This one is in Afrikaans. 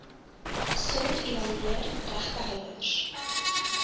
sorg evalueer regtehouers